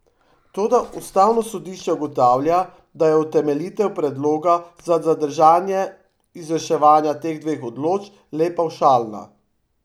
Toda ustavno sodišče ugotavlja, da je utemeljitev predloga za zadržanje izvrševanja teh dveh določb le pavšalna.